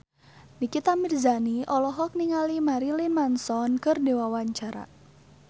Nikita Mirzani olohok ningali Marilyn Manson keur diwawancara